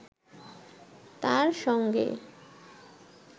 তাঁর সঙ্গে